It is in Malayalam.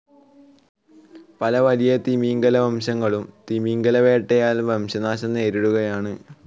പല വലിയ തിമിംഗിലവംശങ്ങളും തിമിംഗിലവേട്ടയാൽ വംശനാശം നേരിടുകയാണ്‌.